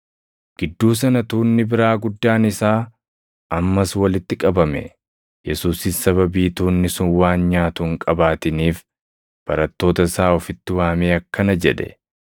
Gidduu sana tuunni biraa guddaan isaa ammas walitti qabame. Yesuusis sababii tuunni sun waan nyaatu hin qabaatiniif barattoota isaa ofitti waamee akkana jedhe;